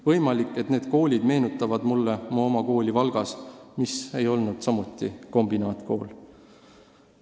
Võimalik, et need koolid meenutavad mulle mu oma kooli Valgas, mis ei olnud samuti kombinaatkool.